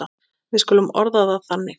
Við skulum orða það þannig.